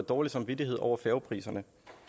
dårlig samvittighed over færgepriserne